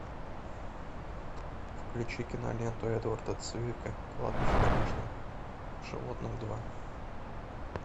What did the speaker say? включи киноленту эдварда цивика кладбище домашних животных два